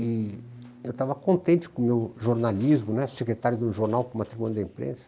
E eu estava contente com o meu jornalismo né, secretário de um jornal como a tribuna da imprensa.